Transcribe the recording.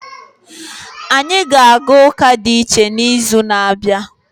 Anyị ga-aga ụka dị iche n'izu na-abịa.